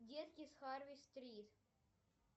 детки с харви стрит